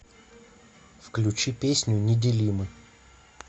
включи песню неделимы